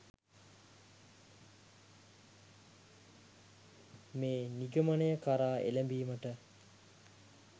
මේ නිගමනය කරා එළැඹීමට